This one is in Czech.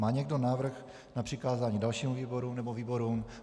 Má někdo návrh na přikázání dalšímu výboru nebo výborům?